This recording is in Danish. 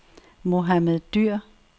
Mohammad Dyhr